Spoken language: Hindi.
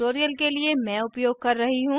इस tutorial के लिए मैं उपयोग कर रही हूँ